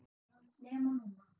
NEMA NÚNA!!!